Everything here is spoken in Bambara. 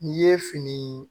N'i ye fini